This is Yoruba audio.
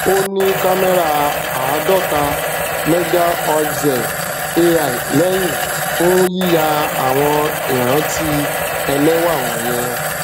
ó ní kámẹrà àádóta megaoixel ai lẹhìn fún yíya àwọn ìrántí ẹlẹwà wọnyẹn